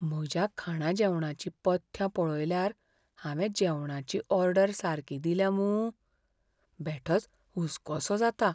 म्हज्या खाणाजेवणाचीं पथ्यां पळयल्यार हावें जेवणाची ऑर्डर सारकी दिल्या मूं? बेठोच हुस्कोसो जाता.